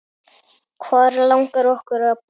Hvar langar okkur að búa?